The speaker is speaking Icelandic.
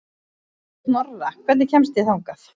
Af sex síðustu leikjum okkar eigum við fjóra heimaleiki.